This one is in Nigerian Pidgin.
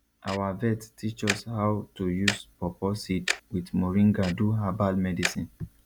our vet teach us how to use pawpaw seed with moringa do herbal medicine